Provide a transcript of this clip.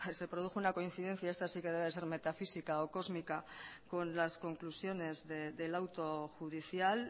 se produjo una coincidencia esta sí que debe ser metafísica o cósmica con las conclusiones del auto judicial